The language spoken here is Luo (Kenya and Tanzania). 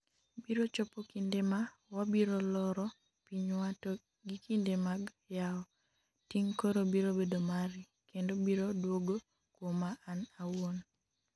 biro chopo kinde ma wabiro loro pinywa to gi kinde mag yawo, ting' koro biro bedo mari, kendo biro dwogo kwoma an awuon